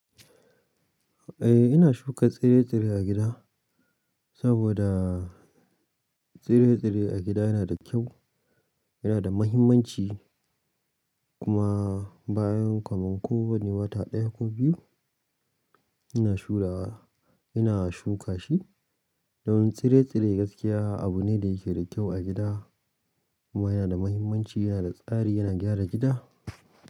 Eh ina shuka tsire-tsire a gida saboda tsire-tsire a gida yana da kyau, yana da muhimmanci kuma bayan kaman kowane wata ɗaya ko biyu ina shura, ina shuka shi. Don tsire-tsire gaskiya abu ne da yake da kyau a gida kuma yana da muhimmanci, yana da tsari, yana gyara gida.